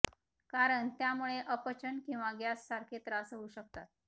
कारण त्यामुळे अपचन किंवा गॅस सारखे त्रास होऊ शकतात